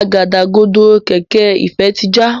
Àgádágodo kẹ̀kẹ́ Ifẹ tí já.